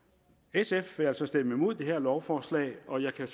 sf vil altså stemme imod dette lovforslag og jeg kan